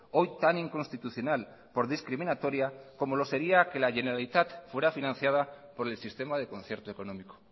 hoy tan inconstitucional por discriminatoria como lo sería que la generalitat fuera financiada por el sistema de concierto económico